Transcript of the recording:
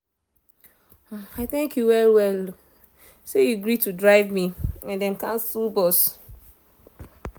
i thank um you well well say you gree to drive me um when dem cancel bus.